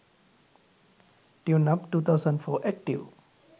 tune up 2014 active